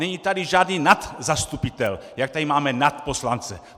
Není tady žádný nadzastupitel, jak tady máme nadposlance.